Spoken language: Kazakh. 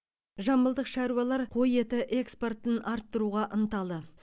жамбылдық шаруалар қой еті экспортын арттыруға ынталы